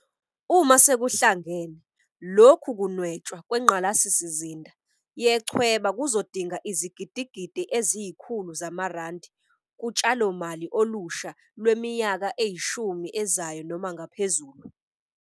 Uma sekuhlangene, lokhu kunwetshwa kwengqalasizinda yechweba kuzodinga izigidigidi eziyi-100 zamarandi kutshalomali olusha lwemi yaka eyishumi ezayo noma ngaphezulu.